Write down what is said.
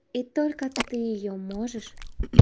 и только ты её можешь